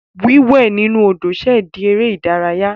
Wíwẹ̀ inú Odò ṣẹ̀ di eré ìdárayá.